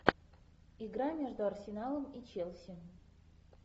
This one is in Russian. игра между арсеналом и челси